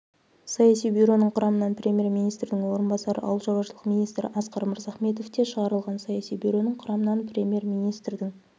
саяси бюроның құрамынан премьер-министрдің орынбасары ауыл шаруашылық министрі асқар мырзахметов те шығарылған саяси бюроның құрамынан премьер-министрдің